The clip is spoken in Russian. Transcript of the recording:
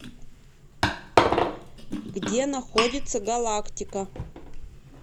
где находится галактика